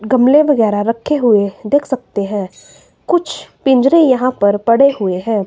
गमले वगैरा रखे हुए देख सकते हैं। कुछ पिंजरे यहां पर पड़े हुए हैं।